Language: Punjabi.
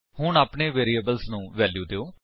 ਹੁਣ ਆਪਣੇ ਵੈਰਿਏਬਲਸ ਨੂੰ ਵੈਲਿਊ ਦਿਓ